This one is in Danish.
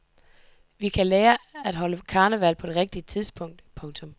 Vi kan lære at holde karneval på det rigtige tidspunkt. punktum